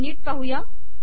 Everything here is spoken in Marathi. ही नीट पाहुया